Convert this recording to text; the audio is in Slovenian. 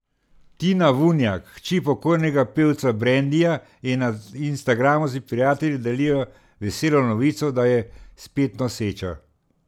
Tina Vunjak, hči pokojnega pevca Brendija, je na instagramu s prijatelji delila veselo novico, da je spet noseča.